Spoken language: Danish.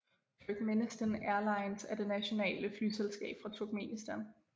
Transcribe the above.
Turkmenistan Airlines er det nationale flyselskab fra Turkmenistan